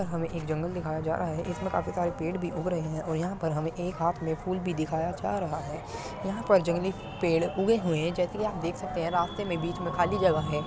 यहाँ पर हमे एक जंगल दिखाई जा रहा है इसमे काफी सारे पेड़ भी उग रहे है और यहाँ पर हमे एक हाथ मे फूल भी दिखाया जा रहा है यहाँ पर जंगली पेड़ उगे हुए हैं जैसे की आप देख सकते हैं रास्ते मे बीच मे खाली जगह है।